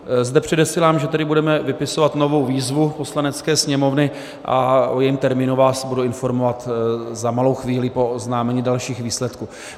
Zde předesílám, že tedy budeme vypisovat novou výzvu Poslanecké sněmovny a o jejím termínu vás budu informovat za malou chvíli po oznámení dalších výsledků.